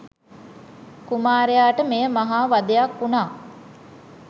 කුමාරයාට මෙය මහා වධයක් වුණා.